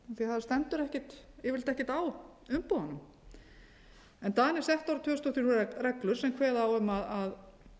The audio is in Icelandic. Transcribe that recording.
því það stendur yfirleitt ekkert á umbúðunum danir settu árið tvö þúsund og þrjú reglur sem kveða á um að